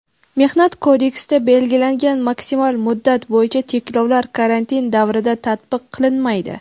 Mehnat kodeksida belgilangan maksimal muddat bo‘yicha cheklovlar karantin davrida tatbiq qilinmaydi.